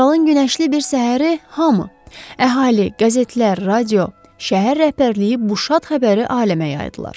Fevralın günəşli bir səhəri hamı, əhali, qəzetlər, radio, şəhər rəhbərliyi bu şad xəbəri aləmə yaydılar.